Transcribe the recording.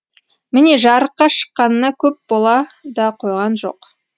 міне жарыққа шыққанына көп бола да қойған жоқ